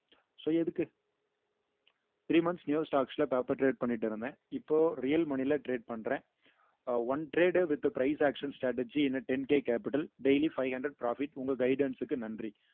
so எதுக்கு three months new shots ல paper create பண்ணிட்டு இருந்தேன் இப்போ real money ல trade பண்றேன் ah one trade with price action strategy in a ten K capital daily five hundred profit உங்க guidance க்கு நன்றி